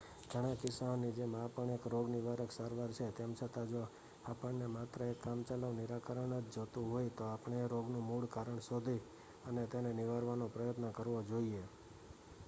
ઘણા કિસ્સાઓની જેમ આ પણ એક રોગનિવારક સારવાર છે તેમ છતાં જો આપણને માત્ર એક કામચલાઉ નિરાકરણ ન જોતું હોય તો આપણે તે રોગનું મૂળ કારણ શોધી અને તેને નિવારવાનો પ્રયત્ન કરવો જોઈએ